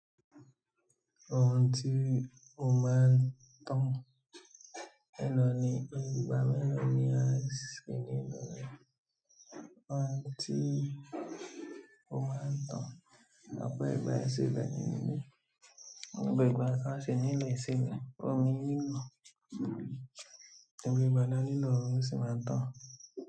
Ohun tí o máa ń tán lọ ní ìgbà mẹ́lòó ni a ṣe nínú rẹ̀. Ohun tí o máa ń tán lọ pẹ́ ìgbà ẹsẹ̀ rẹ nínú. Gbogbo ìgbà a ṣe nílẹ̀ ẹsẹ̀ rẹ. Omi lilo. Gbogbo ìgbà ni lo omi o sì máa ń tán.